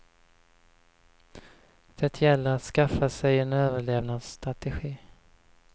Det gäller att skaffa sig en överlevnadsstrategi.